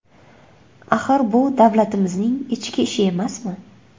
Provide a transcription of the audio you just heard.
Axir bu davlatimizning ichki ishi emasmi?